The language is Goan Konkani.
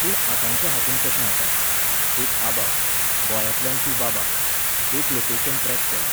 पूण आतांच्या हातूंत कशें आसा, एक आबा, गोंयांतल्यान तूं बाबा, एक लोकेशन ट्रॅक केलें.